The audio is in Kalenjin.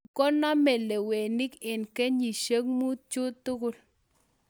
Nyikonamei leweniik eng kenyisiek muut chutugul